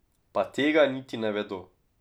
Pa tega niti ne vedo.